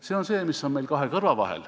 See on see, mis on meil kahe kõrva vahel.